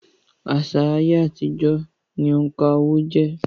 Àṣà ayé àtijọ́ ni òǹkà owó-ẹyọ jẹ́